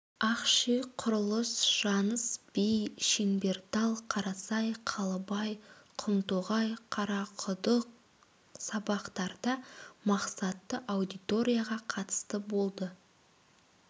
ақши құрылыс жаныс би шеңбертал қарасай қалыбай құмтоғай қарақұдық сабақтарда мақсатты аудиторияға қатысты болды